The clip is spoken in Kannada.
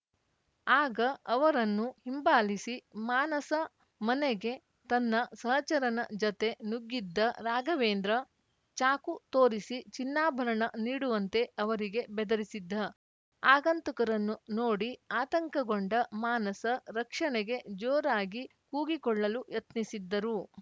ಆಗ ಅವರನ್ನು ಹಿಂಬಾಲಿಸಿ ಮಾನಸ ಮನೆಗೆ ತನ್ನ ಸಹಚರನ ಜತೆ ನುಗ್ಗಿದ್ದ ರಾಘವೇಂದ್ರ ಚಾಕು ತೋರಿಸಿ ಚಿನ್ನಾಭರಣ ನೀಡುವಂತೆ ಅವರಿಗೆ ಬೆದರಿಸಿದ್ದ ಆಗಂತುಕರನ್ನು ನೋಡಿ ಆತಂಕಗೊಂಡ ಮಾನಸ ರಕ್ಷಣೆಗೆ ಜೋರಾಗಿ ಕೂಗಿಕೊಳ್ಳಲು ಯತ್ನಿಸಿದ್ದರು